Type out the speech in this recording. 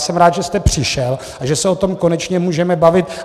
Jsem rád, že jste přišel a že se o tom konečně můžeme bavit.